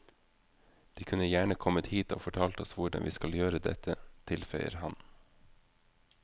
De kunne gjerne kommet hit og fortalt oss hvordan vi skal gjøre dette, tilføyer han.